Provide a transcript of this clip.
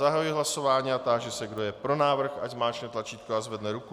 Zahajuji hlasování a táži se, kdo je pro návrh, ať zmáčkne tlačítko a zvedne ruku.